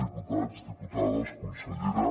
diputats diputades consellera